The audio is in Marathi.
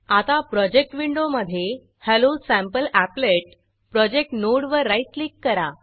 आता प्रोजेक्ट विंडो मधे hello sample applet hello sample applet project नोडवर राईट क्लिक करा